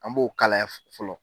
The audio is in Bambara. An b'o kalaya fɔlɔ